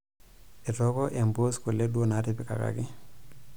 Etooko empuus kule duo naatipikaki.